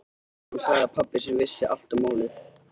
Hann sagði að pabbi sinn vissi allt um málið.